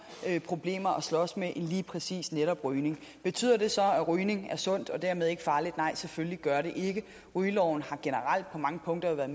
problemer at slås med end lige præcis rygning betyder det så at rygning er sundt og dermed ikke farligt nej selvfølgelig gør det ikke det rygeloven har generelt på mange punkter været